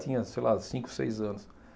Tinha, sei lá, cinco, seis anos.